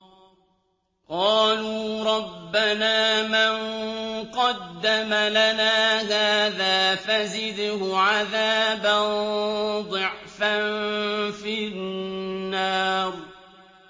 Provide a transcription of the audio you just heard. قَالُوا رَبَّنَا مَن قَدَّمَ لَنَا هَٰذَا فَزِدْهُ عَذَابًا ضِعْفًا فِي النَّارِ